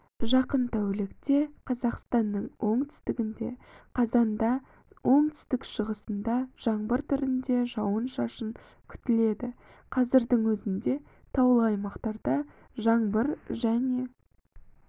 жақын тәулікте қазақстанның оңтүстігінде қазанда оңтүстік-шығысында жаңбыр түрінде жауын-шашын күтіледі қазірдің өзінде таулы аймақтарда жаңбыр және